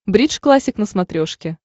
бридж классик на смотрешке